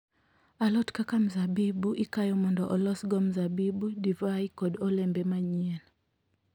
Alot kaka mzabibu ikayo mondo olosgo mzabibu, divai, kod olembe manyien.